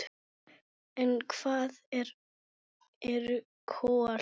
En hvað eru kol?